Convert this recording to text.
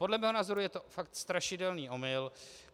Podle mého názoru je to fakt strašidelný omyl.